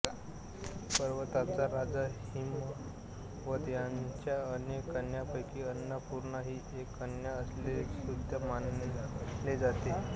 पर्वतांचा राजा हिमावत याच्या अनेक कन्यांपैकी अन्नपूर्णा ही एक कन्या असल्याचेसुद्धा मानले जाते